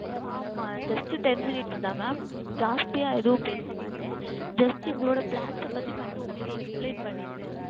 ஆமாம் Just Ten Minutes தான் Mam அதிகமாக எதுவும் பேச மாட்டேன் Just எங்களுடைய Plan பற்றி மட்டும் Explain செய்து விடுவேன்